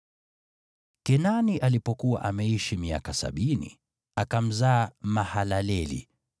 Kenani alipokuwa ameishi miaka sabini, akamzaa Mahalaleli.